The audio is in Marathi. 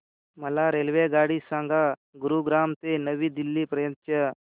मला रेल्वेगाडी सांगा गुरुग्राम ते नवी दिल्ली पर्यंत च्या